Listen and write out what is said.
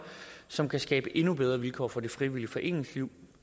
som kan skabe endnu bedre vilkår for det frivillige foreningsliv